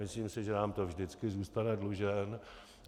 Myslím si, že nám to vždycky zůstane dlužen.